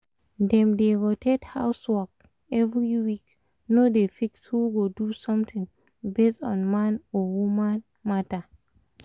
dem dey rotate house work every week no dey fix who go do something based on man or woman matter